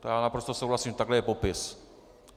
To já naprosto souhlasím, takhle je popis.